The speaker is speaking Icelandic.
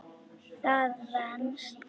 Það venst.